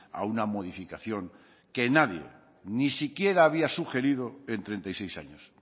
a una modificación que nadie ni siquiera había sugerido en treinta y seis años